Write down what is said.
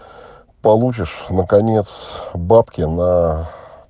получишь наконец бабки на